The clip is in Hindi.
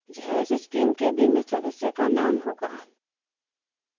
यह इस स्कीम के बीमित सदस्य का नाम होगा